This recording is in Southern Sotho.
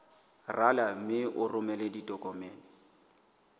rala mme o romele ditokomene